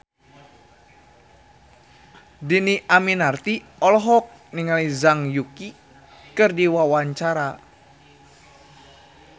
Dhini Aminarti olohok ningali Zhang Yuqi keur diwawancara